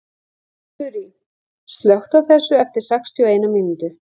Þurý, slökktu á þessu eftir sextíu og eina mínútur.